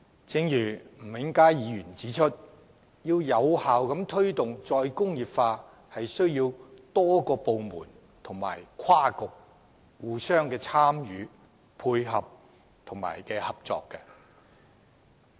正如吳永嘉議員指出，要有效推動"再工業化"，是需要多個部門及跨局參與、配合和合作的。